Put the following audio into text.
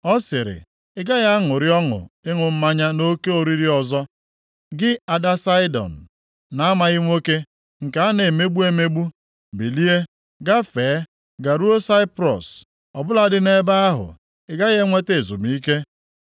Ọ sịrị, “Ị gaghị aṅụrị ọṅụ ịṅụ mmanya nʼoke oriri ọzọ, gị ada Saịdọn na-amaghị nwoke, nke a na-emegbu emegbu. “Bilie, gafee garuo Saiprọs, ọ bụladị nʼebe ahụ, ị gaghị enweta ezumike.”